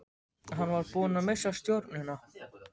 Hann var búinn að missa stjórnina.